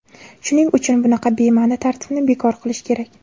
Shuning uchun bunaqa bema’ni tartibni bekor qilish kerak.